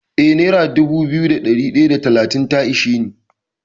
Eh nera dubu biyu da ɗari ɗaya da talatin ta ishe ni.